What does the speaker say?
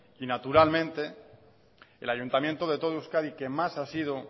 y naturalmente el ayuntamiento de todo euskadi que más ha sido